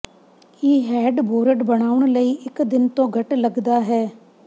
ਇਹ headboard ਬਣਾਉਣ ਲਈ ਇੱਕ ਦਿਨ ਤੋਂ ਘੱਟ ਲੱਗਦਾ ਹੈ